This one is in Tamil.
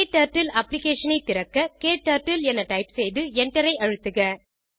க்டர்ட்டில் அப்ளிகேஷன் ஐ திறக்க க்டர்ட்டில் என டைப் செய்து enter ஐ அழுத்துக